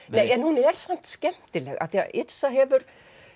en hún er samt skemmtilegt af því að Yrsa hefur